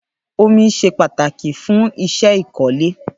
Ómi ṣé pàtáki fùn iṣẹ ikọ̀lé